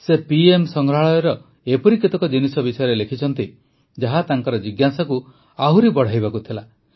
ସେ ପିଏମ୍ ସଂଗ୍ରହାଳୟର ଏପରି କେତେକ ଜିନିଷ ବିଷୟରେ ଲେଖିଛନ୍ତି ଯାହା ତାଙ୍କର ଜିଜ୍ଞାସାକୁ ଆହୁରି ବଢ଼ାଇବାକୁ ଥିଲା